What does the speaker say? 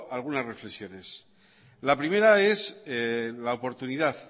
algunas reflexiones la primera es la oportunidad